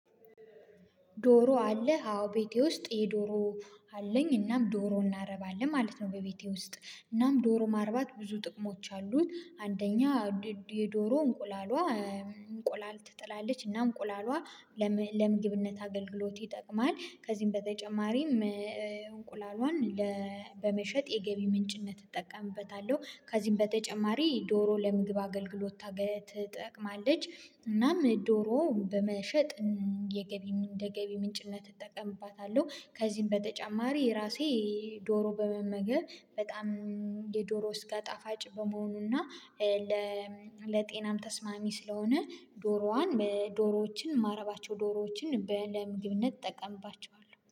ዶሮ አለ አዎ ቤቴ ውስጥ የዶሮ አለኝ እናም ዶሮ እናረባለን ማለት ነው። በቤቴ ውስጥ እናም ዶሮ ማርባት ብዙ ጥቅሞች አሉት። አንደኛ የዶሮ እንቁላሏ እንቁላል ትጥላለች እና እንቁላሏ ለምግብነት አገልግሎት ይጠቅማል። ከዚህም በተጨማሪም እንቁላሏን በመሸጥ የገቢ ምንጭነት እጠቀምበታለሁ። ከዚህም በተጨማሪ ዶሮ ለምግብ አገልግሎት ታገለ ትጠቅማለች። እናም ዶሮ በመሸጥ የገቢ እንደገቢ ገቢ ምንጭነት እጠቀምባታለሁ። ከዚህም በተጨማሪ ራሴ ዶሮ በመመገብ በጣም የዶሮ ስጋ ጣፋጭ በመሆኑና ለጤናም ተስማሚ ስለሆነ። ዶሮዋን በዶሮዎችን ማረባቸው ዶሮዎችን በለምግብነት እጠቀምባቸዋለሁ